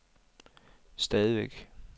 stadigvæk